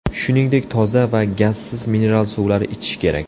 Shuningdek, toza va gazsiz mineral suvlar ichish kerak.